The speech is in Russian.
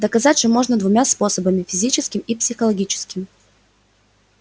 доказать же можно двумя способами физическим и психологическим